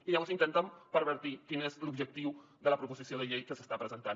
i llavors intenten pervertir quin és l’objectiu de la proposició de llei que s’està presentant